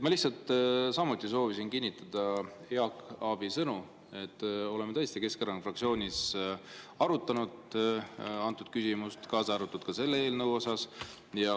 Ma lihtsalt samuti soovisin kinnitada Jaak Aabi sõnu, et oleme tõesti Keskerakonna fraktsioonis arutanud antud küsimust, kaasa arvatud ka selle eelnõu osas.